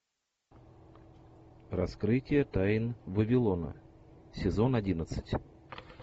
раскрытие тайн вавилона сезон одиннадцать